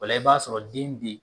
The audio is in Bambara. O la i b'a sɔrɔ den bɛ yen.